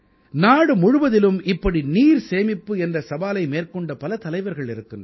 நாடு முழுவதிலும் இப்படி நீர் சேமிப்பு என்ற சவாலை மேற்கொண்ட பல தலைவர்கள் இருக்கிறார்கள்